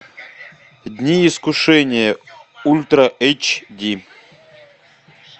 дни искушения ультра эйч ди